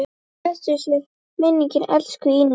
Blessuð sé minning elsku Ínu.